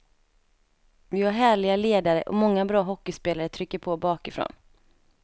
Vi har härliga ledare och många bra hockeyspelare trycker på bakifrån.